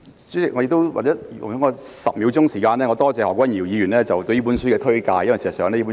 主席，請容許我花10秒時間感謝何君堯議員推介此書。